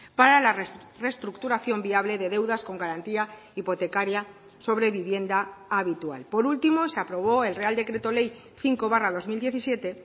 para la reestructuración viable de deudas con garantía hipotecaria sobre vivienda habitual por último se aprobó el real decreto ley cinco barra dos mil diecisiete